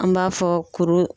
An b'a fɔ kuru